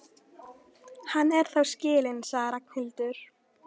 Hann er þá skilinn, sagði Ragnhildur.